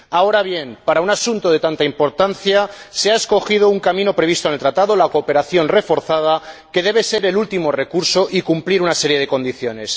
Ahora bien, para un asunto de tanta importancia se ha escogido un camino previsto en el Tratado la cooperación reforzada que debe ser el último recurso y cumplir una serie de condiciones.